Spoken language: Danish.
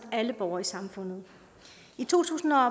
alle borgere i samfundet i to tusind og